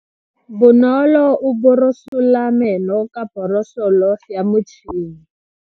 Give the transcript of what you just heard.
Bonolo o borosola meno ka borosolo ya motšhine.